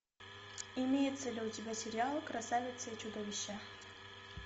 имеется ли у тебя сериал красавица и чудовище